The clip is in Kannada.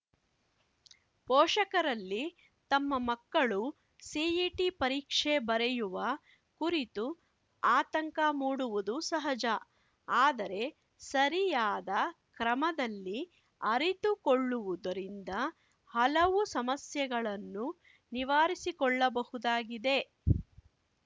ಪೋಷಕರಲ್ಲಿ ತಮ್ಮ ಮಕ್ಕಳು ಸಿಇಟಿ ಪರೀಕ್ಷೆ ಬರೆಯುವ ಕುರಿತು ಅತಂಕ ಮೂಡುವುದು ಸಹಜ ಆದರೆ ಸರಿಯಾದ ಕ್ರಮದಲ್ಲಿ ಅರಿತುಕೊಳ್ಳುವುದರಿಂದ ಹಲವು ಸಮಸ್ಯೆಗಳನ್ನು ನಿವಾರಿಸಿಕೊಳ್ಳಬಹುದಾಗಿದೆ